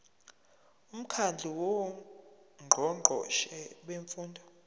umkhandlu wongqongqoshe bemfundo